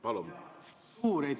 Palun!